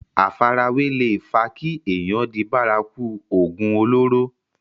àfarawé leè fa kí èèyàn di bárakú ògùn olóró